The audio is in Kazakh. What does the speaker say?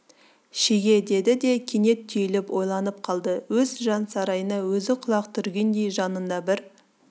шеге деді де кенет түйіліп ойланып қалды өз жан сарайына өзі құлақ түргендей жанында бір